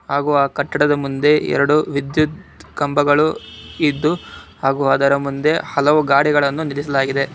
ಹಾಗು ಆ ಕಟ್ಟಡದ ಮುಂದೆ ಎರಡು ವಿದ್ಯುತ್ ಕಂಬಗಳು ಇದ್ದು ಹಾಗು ಅದರ ಮುಂದೆ ಹಲವು ಗಾಡಿಗಳನ್ನು ನಿಲ್ಲಿಸಲಾಗಿದೆ.